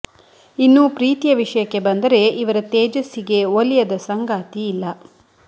ಇನ್ನು ಪ್ರೀತಿಯ ವಿಷಯಕ್ಕೆ ಬಂದರೆ ಇವರ ತೇಜಸ್ಸಿಗೆ ಒಲಿಯದ ಸಂಗಾತಿ ಇಲ್ಲ